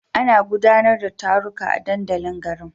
Ana gudanar da taruka a dandalin garin.